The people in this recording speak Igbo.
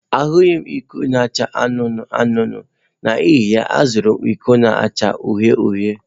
Ahụghị m iko na-acha anụnụ anụnụ, n'ihi ya, azụrụ m iko na-acha uhie uhie.